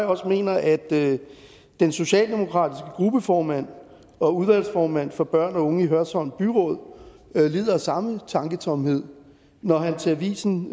også mener at den socialdemokratiske gruppeformand og udvalgsformand for børn og unge i hørsholm byråd lider af samme tanketomhed når han til avisendk